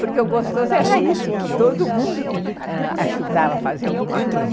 Porque o gostoso era isso, que todo mundo ajudava a fazer alguma coisa.